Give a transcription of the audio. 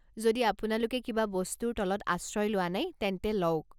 যদি আপোনালোকে কিবা বস্তুৰ তলত আশ্ৰয় লোৱা নাই, তেন্তে লওক।